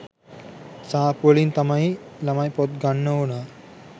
සාප්පුවලින් තමයි ළමයි පොත් ගන්න ඕනා.